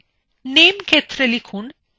name ক্ষেত্রে লিখুন layer four